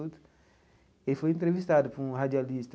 Ele foi entrevistado por um radialista.